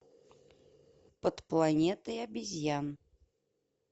под планетой обезьян